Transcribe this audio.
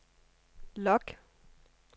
log